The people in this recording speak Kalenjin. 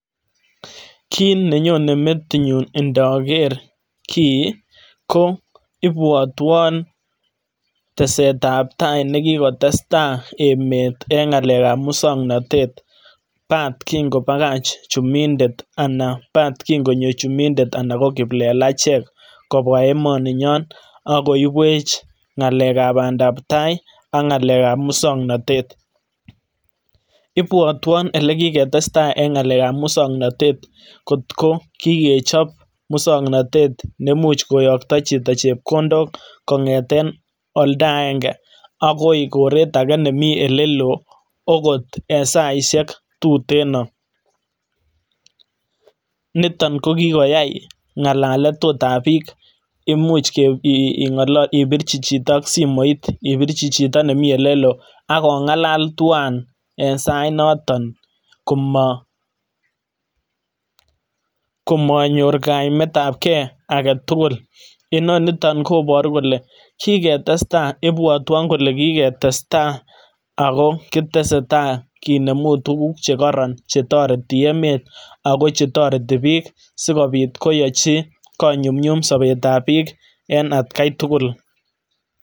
Kit nenyone metinyun intoker kii kobwotwon teset ab tai ne kikotestai emet en ngalekab muswognotet bat kin kobakach chumindet ana bat kin konyo chumidet ana kiplelachek kobwaa emoninyon ak koibwech ngalekab bandap tai ak ngalekab muswongnotet. Ibwotwon ele kii ketestai en ngalekab muswongnotet kot ko kii kechob muswongnotet neimuch koyongto chito chekondok en olda aenge akoi koret agee nemii oleloo okot en saishek tuteno. Niton kokikoyay ot ngalalet ot ab biik imuch ibirchi chito ot ak simoit, ibirchi chito nemii oleloo ak ongalal tuan en sait noton komonyor kaimetab gee agetugul inoniton kobor kelee kiketestai, ibwotwon kolee kiketestai ako kitesetai kinemu tugug che koron che toretii emet ako che toretii biik asikopit koyochi konyumnyum sobet ab bik en atgai tugul